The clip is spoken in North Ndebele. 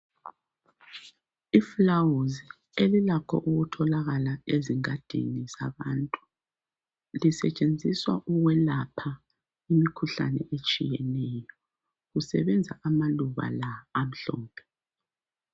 Iluba elilakho ukutholakala ezingadini zabantu lisetshenziswa ukwelapha imikhuhlane etshiyetshiyeneyo kusebenza amaluba la amhlophe